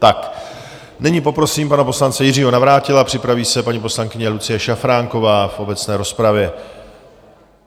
Tak nyní poprosím pana poslance Jiřího Navrátila, připraví se paní poslankyně Lucie Šafránková v obecné rozpravě.